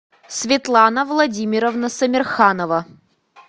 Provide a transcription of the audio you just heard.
светлана владимировна сомерханова